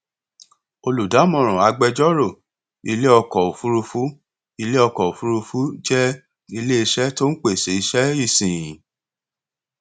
olùdámọràn agbẹjọrò ilé ọkọ ofurufu ilé ọkọ ofurufu jẹ ilé iṣẹ tó n pese iṣẹ ìsìn